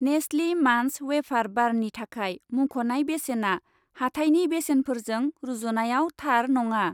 नेस्लि मान्च वेफार बारनि थाखाय मुंख'नाय बेसेना हाथायनि बेसेनफोरजों रुजुनायाव थार नङा।